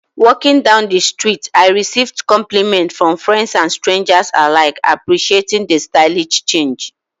Walking down the street, I received compliments from friends and strangers alike, appreciating the stylish change.